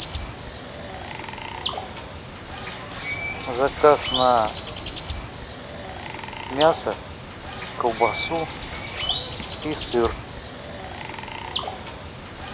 заказ на мясо колбасу и сыр